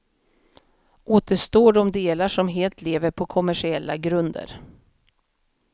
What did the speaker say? Återstår de delar som helt lever på kommersiella grunder.